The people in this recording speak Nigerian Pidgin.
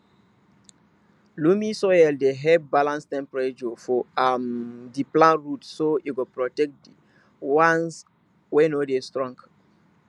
loamy soil dey help balance temperature for um di plant roots so e go protect di once wey no too strong